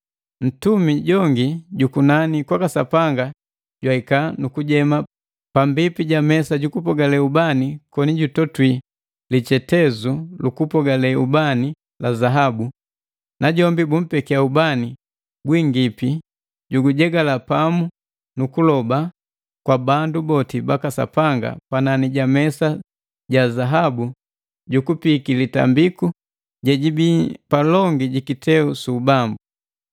Ntumi jongi ju kunani kwaka Sapanga jwahika, nukujema pambipi ja mesa jukupogale ubani koni jutotwi lichetezu lukupogale ubani la zaabu. Najombi bumpekia ubani gwingipi jugujegala pamu nu kuloba kwa bandu boti baka Sapanga panani ja mesa ja zaabu jukupiiki litambiku jejibi palongi ji kiteu su ubambu.